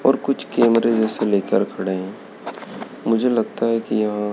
और कुछ कैमरे जैसे लेकर खड़े हैं मुझे लगता है कि यहां--